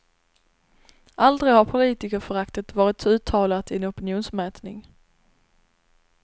Aldrig har politikerföraktet varit så uttalat i en opinionsmätning.